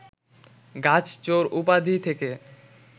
গাছ চোর উপাধি থেকে